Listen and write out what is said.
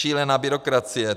Šílená byrokracie.